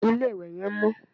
Ilé-ìwẹ̀ yẹn ò mọ́